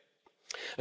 dépensés